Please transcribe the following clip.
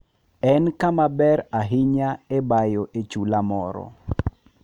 En kama ber ahinya e bayo e chula moro.